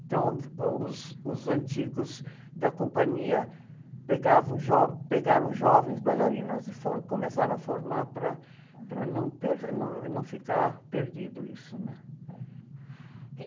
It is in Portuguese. Então, ãh, os, os antigos da companhia pegavam jo, pegaram jovens bailarinos e começaram a formar para não per, não, não ficar perdido isso, né?